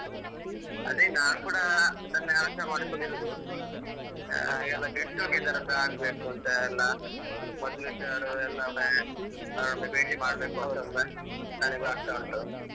ಅದೇ ನಾನ್ ಕೂಡ ಅದನ್ನೇ ಆಲೋಚನೆ ಮಾಡಿಕೊಂಡು ಇರುದು ಹಾಗೆಲ್ಲ get together ಅಂತ ಆಗ್ಬೇಕು ಅಂತ ಎಲ್ಲ ಮೊದ್ಲಿದ್ದವರೆಲ್ಲಾ ಒಮ್ಮೆ ಭೇಟಿ ಮಾಡ್ಬೇಕುಂತ ನನಗು ಆಗ್ತಾ ಉಂಟು .